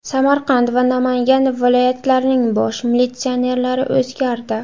Samarqand va Namangan viloyatlarining bosh militsionerlari o‘zgardi.